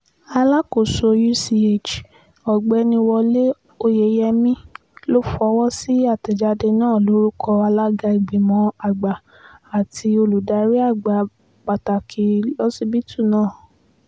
alákòóso uch ọ̀gbẹ́ni wọlé oyeyèmí ló fọwọ́ sí àtẹ̀jáde náà lórúkọ alága ìgbìmọ̀ àgbà àti olùdarí àgbà pátá lọsibítù náà